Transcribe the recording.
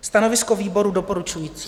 Stanovisko výboru doporučující.